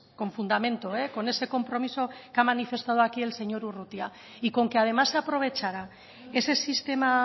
con fundamento con ese compromiso que ha manifestado aquí el señor urrutia y con que además se aprovechara ese sistema